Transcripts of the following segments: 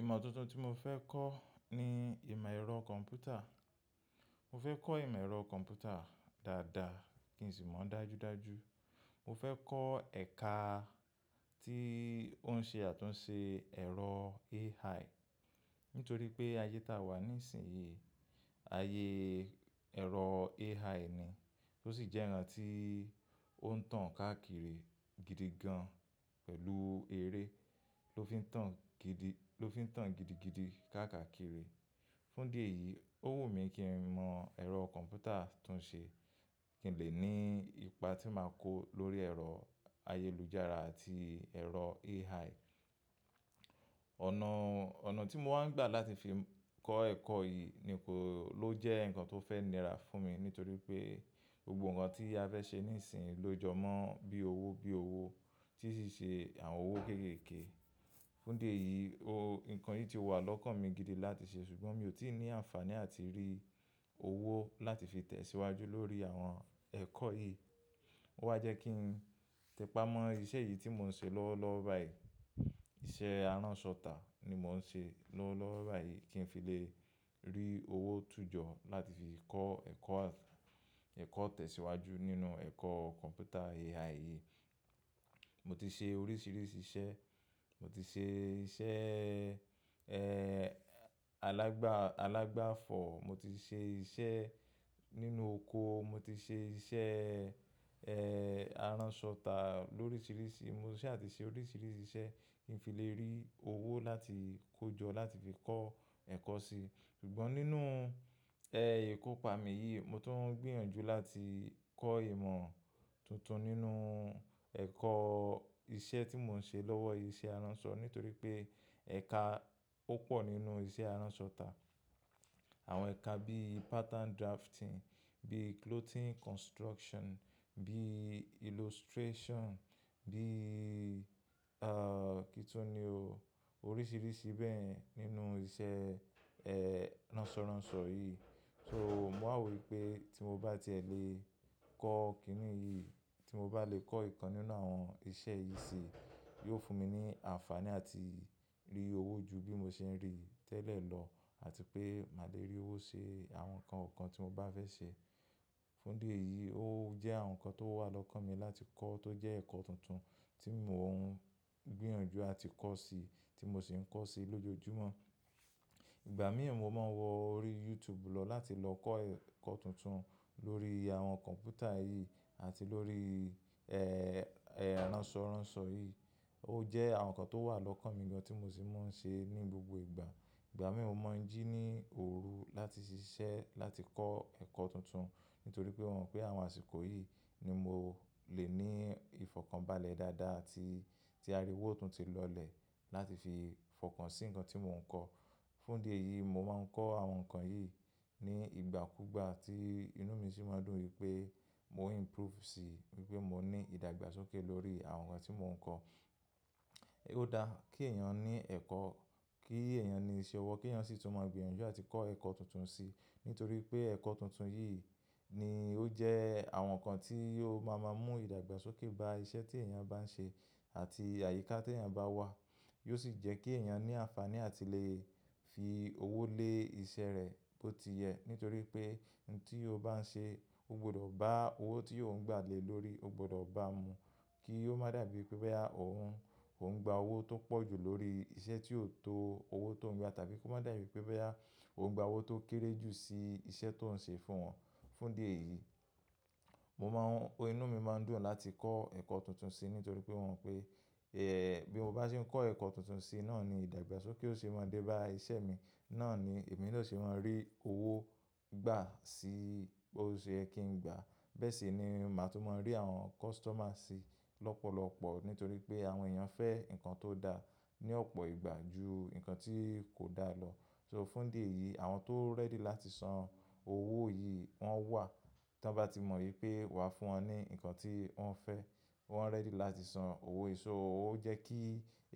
Ìmọ tuntun tí mo fẹ́ kọ́ ni ìmọ̀ ẹ̀rọ kọ̀ḿpútà. Mo fẹ́ kọ́ ìmọ̀ ẹ̀rọ kọ̀ḿpútà dáadáa kí n sì mọ̀ dájúdájú. Mo fẹ́ kọ́ ẹ̀ka tí ó ń ṣe àtúnṣe ẹ̀rọ AI, nítorí pé ayé ta wà nísinsìnyí, ayé ẹ̀rọ AI ni. Ó sì jẹ́ ǹkan tí ó ń tàn káàkiri gidi gan pẹ̀lú eré ló fi ń tàn gidi-- ló fi n tan digiby see5 Fún idí eyìí, ó wù mí kí n mọ ẹ̀rọ kọ̀ḿpútà tún ṣe kí n lè ní ipa tí màá kó lórí ẹ̀rọ ayélujára àti ẹ̀rọ AI. Ọ̀nà, ọ̀nà tí mo wá ń gbà láti fi kọ́ ẹ̀kọ́ yìí ni kò ló jẹ́ ǹkan tó fẹ́ nira fún mi, nítorí pé gbogbo ǹkan tí a fẹ́ ṣe nísinsìnyí ló jọ mọ́ bí owó bí owó tí ó sì ṣe àwọn owó kéékèèké. Fún díẹ̀ yìí, o-- ǹkan yìí ti wà lọ́kàn mi gidi láti ṣe, ṣùgbọ́n mi ò tí ì ní àǹfàní àti rí owó láti fi tẹ̀síwájú lórí àwọn ẹ̀kọ́ yìí. Ó wá jẹ́ kí n tẹpá mọ́ ìṣe yìí tí mò ń ṣe lọ́wọ́lọ́wọ́ báyìí. Ìṣe aránṣọ tà ni mò ń ṣe lọ́wọ́lọ́wọ́ báyìí kí n fi lè rí owó tún jọ láti fi kọ́ ẹ̀kọ́, ẹ̀kọ́ tẹ̀síwájú nínú ẹ̀kọ́ kọ̀ḿpútà AI yìí. Mo ti ṣe oríṣiríṣi iṣẹ́, mo ti ṣe iṣẹ́, ẹ́, alágba, alágba fọ̀, mo ti ṣe iṣẹ́ nínú oko, mo ti ṣe iṣẹ́, ẹ́, aránṣọ tà lóríṣiríṣi, mo sì àti ṣe oríṣiríṣi iṣẹ́ kí n fi lè rí owó láti kó jọ láti fi kọ́ ẹ̀kọ́ sí. Ṣùgbọ́n nínú, ẹ́, ìkópa mi yìí, mo tún ń gbìyànjú láti kọ́ ìmọ̀ tuntun nínú ẹ̀kọ́ iṣẹ́ tí mò ń ṣe lọ́wọ́ iṣẹ́ aránṣọ, nítorí pé ẹ̀ka ó pọ̀ nínú iṣẹ́ aránṣọ tà. Àwọn ẹ̀ka bí pattern drafting, bí clothing construction, bí illustration, bí, ẹ́, kíni tó ni o, oríṣiríṣi bẹ́ẹ̀ nínú iṣẹ́, ẹ́, ránṣọránṣọ yìí. So mò wà wò wípé tí mo bá ti è lè kọ́ kínní yìí, tí mo bá lè kọ́ ìkan nínú àwọn iṣẹ́ yìí sí, yóò fún mi ní àǹfàní àti rí owó ju bí mo ṣe ń rí tẹ́lẹ̀ lọ àti pé màá lè rí owó ṣe àwọn ǹkan ọ̀kan tí mo bá fẹ́ ṣe. Fún díẹ̀ yìí, ó jẹ́ àwọn ǹkan tó wà lọ́kàn mi láti kọ́ tó jẹ́ ẹ̀kọ́ tuntun tí mò ń gbìyànjú àti kọ́ sí, tí mo sì ń kọ́ sí lójoojúmọ́. Ìgbà mí ì mọ máa ń wọ orí YouTube lọ láti lọ kọ́ ẹ̀kọ́ tuntun lórí àwọn kọ̀ḿpútà yìí àti lórí, ẹ́, ẹ́, ránṣọránṣọ yìí. Ó jẹ́ àwọn ǹkan tó wà lọ́kàn mi gan tí mo sì máa ń ṣe ní gbogbo ìgbà. Ìgbà mí mo mọ̀ ń jí ní òru láti ṣiṣẹ́ láti kọ́ ẹ̀kọ́ tuntun, nítorí pé mò mò pé àwọn àsìkò yìí ni mo lè ní ìfọ̀kànbalẹ̀ dáadáa àti tí a rí owó tún ti lọlẹ̀ láti fi fọkàn sí ǹkan tí mò ń kọ́. Fún díẹ̀ yìí, mò máa ń kọ́ àwọn ǹkan yìí ní ìgbàkúgbà tí inú mi sì máa ń dùn wípé mò ń improve sí wípé mò ní ìdàgbàsókè lórí àwọn ǹkan tí mò ń kọ́. Ó da kí èèyàn ní ẹ̀kọ́, kí èèyàn ní iṣẹ́ ọwọ́, kí èèyàn sì tún mọ̀ gbìyànjú àti kọ́ ẹ̀kọ́ tuntun sí, nítorí pé ẹ̀kọ́ tuntun yìí ni ó jẹ́ àwọn ǹkan tí yóò máa má mú ìdàgbàsókè bá iṣẹ́ tí èèyàn bá ń ṣe àti àyíká tí èèyàn bá wà. Yóò sì jẹ́ kí èèyàn ní àǹfàní àti lè fi owó lé ìṣe rẹ̀ bó ti yẹ, nítorí pé ohun tí o bá ń ṣe, o gbọdọ̀ bá owó tí yóò ń gbà le lórí, o gbọdọ̀ bá mú kí ó má dàbí pé boyá òun, òun ń gba owó tó pọ̀ jù lórí iṣẹ́ tí ò tó owó tó ń gba tàbí kó má dàbí pé boyá òun ń gba owó tó kéré jù sí iṣẹ́ tó ń ṣe fún wọn. Fún'dí ẹ̀yìí, mò má ń-- inú mi má ń dùn láti kọ́ ẹ̀kọ́ tuntun sí, nítorí pé mò mo pé, ẹ́, bí mo bá se ń kọ́ ẹ̀kọ́ tuntun sí, náà ni ìdàgbàsókè ó se máa dé bá iṣẹ́ mi, náà ni èmi ló se máa rí owó gbà sí, bó ṣe yẹ kí n gbà. Bẹ́ẹ̀ sì ni màá si tún mọ̀ rí àwọn customer sí lọ́pọ̀lọ́pọ̀, nítorí pé àwọn èèyàn fẹ́ ǹkan tó da ní ọ̀pọ̀ ìgbà ju ǹkan tí kò da lọ. So fún díẹ̀ yìí, àwọn tó ready láti san owó yìí wọ́n wà. Tí wọ́n bá ti mọ̀ wípé wàá fún wọn ní ǹkan tí wọ́n fẹ́, wọ́n ready láti san owó. So ó jẹ́ kí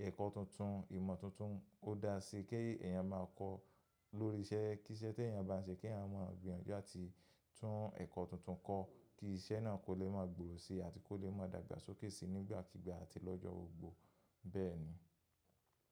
ẹ̀kọ́ tuntun, ìmọ̀ tuntun kó daa sí kí èèyàn máa kọ́ lórí iṣẹ́. Kí iṣẹ́ tí èèyàn bá ń ṣe kí àwọn òǹgbàgbìyànjú àti tún ẹ̀kọ́ tuntun kọ́ kí iṣẹ́ náà kò lè máa gbòòrò sí àti kó lè máa dàgbàsókè sí nígbàkígbà àti lọ́jọ́ gbogbò. Bẹ́ẹ̀ni.